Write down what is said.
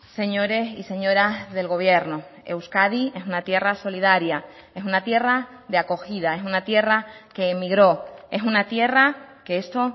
señores y señoras del gobierno euskadi es una tierra solidaria es una tierra de acogida es una tierra que emigró es una tierra que esto